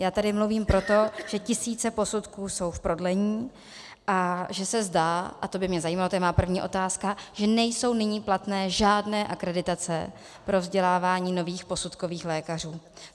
Já tady mluvím proto, že tisíce posudků jsou v prodlení a že se zdá - a to by mě zajímalo, to je má první otázka -, že nejsou nyní platné žádné akreditace pro vzdělávání nových posudkových lékařů.